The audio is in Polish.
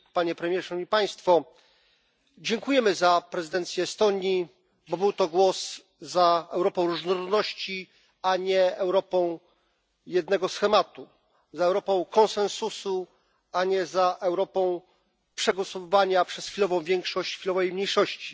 Panie Premierze i Państwo! Dziękujemy za prezydencję Estonii, bo był to głos za Europą różnorodności, a nie Europą jednego schematu, za Europą konsensusu, a nie za Europą przegłosowywania przez chwilową większość chwilowej mniejszości.